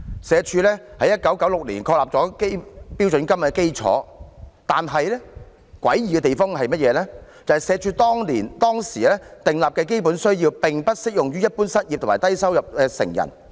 社署在1996年確立了標準金額基礎，但詭異的地方是，社署當時訂立的基本需要並不適用於一般失業及低收入成人。